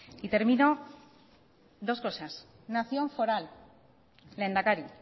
y termino dos cosas nación foral lehendakari